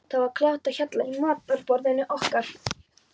Það var kátt á hjalla í matarboðinu okkar.